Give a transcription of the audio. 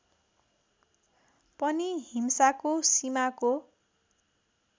पनि हिंसाको सीमाको